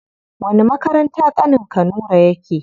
Wani makaranta ƙanin ka nura yake?